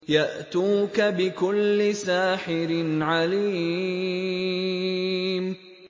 يَأْتُوكَ بِكُلِّ سَاحِرٍ عَلِيمٍ